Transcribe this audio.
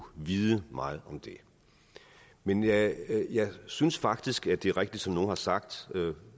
vide meget om det men jeg synes faktisk at det er rigtigt som nogle har sagt i